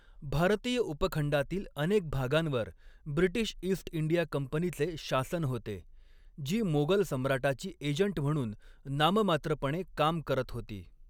भारतीय उपखंडातील अनेक भागांवर ब्रिटिश ईस्ट इंडिया कंपनीचे शासन होते, जी मोगल सम्राटाची एजंट म्हणून नाममात्रपणे काम करत होती.